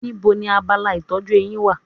Níbo ni abala ìtọ́jú eyín wà?